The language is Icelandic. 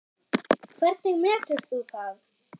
Hvernig metur þú það?